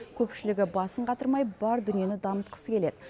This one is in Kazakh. көпшілігі басын қатырмай бар дүниені дамытқысы келеді